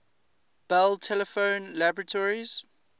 bell telephone laboratories